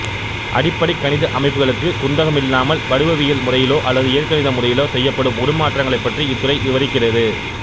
அடிப்படைக் கணித அமைப்புகளுக்குக் குந்தகமில்லாமல் வடிவவியல் முறையிலோ அல்லது இயற்கணித முறையிலோ செய்யப்படும் உரு மாற்றங்களைப் பற்றி இத்துறை விபரிக்கின்றது